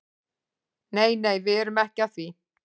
Nei nei, við erum ekki að því.